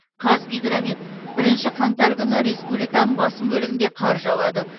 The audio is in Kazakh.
қазгидромет бірінші қаңтар күні республиканың басым бөлігінде қар жауады